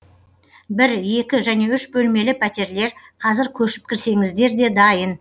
бір екі және үш бөлмелі пәтерлер қазір көшіп кірсеңіздер де дайын